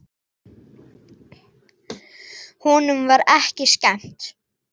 Honum var ekki skemmt!